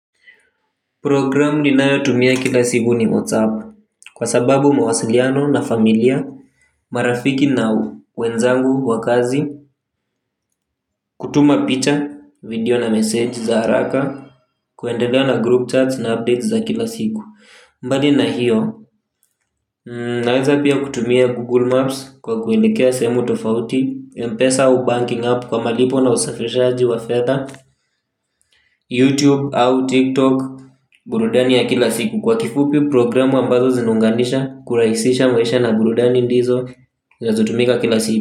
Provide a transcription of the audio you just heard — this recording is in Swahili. Programu ninayotumia kila siku ni WhatsApp Kwa sababu mawasiliano na familia marafiki na u, wenzangu, wa kazi kutuma picha, video na message za haraka. Kuendelea na group chats na updates za kila siku. Mbali na hiyo naweza pia kutumia Google Maps Kwa kuelekea sehemu tofauti Mpesa au banking app kwa malipo na usafirishaji wa fedha YouTube au TikTok. Burudani ya kila siku kwa kifupi programu ambazo zinaunganisha kurahisisha maisha na burudani ndizo zinazotumika kila si.